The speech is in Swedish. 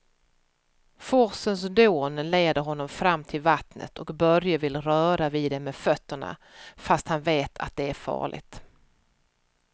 Forsens dån leder honom fram till vattnet och Börje vill röra vid det med fötterna, fast han vet att det är farligt.